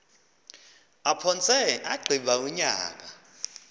aphantse agqiba unyaka